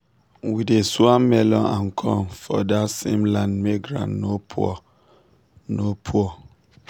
we dey swap melon and corn for dat same land make ground no poor. no poor.